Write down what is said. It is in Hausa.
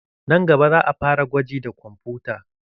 Nan gaba, za'a fara gwaji da kwamfuta.